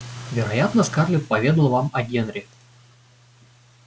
вероятно скарлетт поведала вам о генри